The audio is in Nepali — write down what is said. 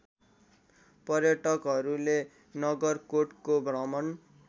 पर्यटकहरूले नगरकोटको भ्रमण